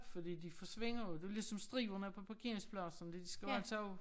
Fordi de forsvinder jo det jo ligesom striberne på parkeringspladsen de skal også